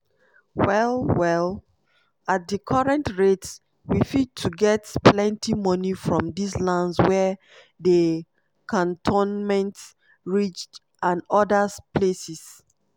well well at di current rates we fit to get plenty moni from dis lands wia dey cantonment ridge and odas places."